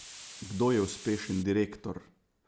Kdo je uspešen direktor?